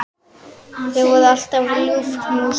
Það voru alltaf ljúf knús.